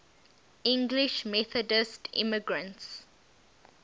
english methodist immigrants